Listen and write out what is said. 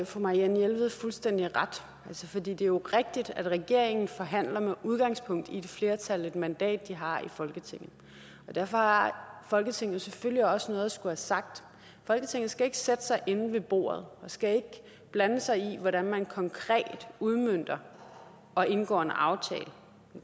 fru marianne jelved fuldstændig ret for det er jo rigtigt at når regeringen forhandler med udgangspunkt i det flertal det mandat de har i folketinget derfor har folketinget selvfølgelig også noget at skulle have sagt folketinget skal ikke sætte sig inde ved bordet og skal ikke blande sig i hvordan man konkret udmønter og indgår en aftale det